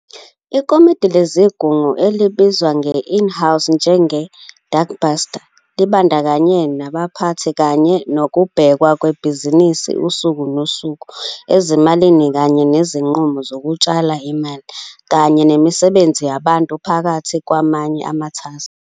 Ikomidi leSigungu, elibizwa nge-in-house njenge-'Dagbestuur' libandakanya nabaphathi kanye nokubhekwa kwebhizinisi usuku nosuku, ezimalini kanye nezinqumo zokutshala, imali, kanye nemisebenzi yabantu phakathi kwamanye amathaskhi.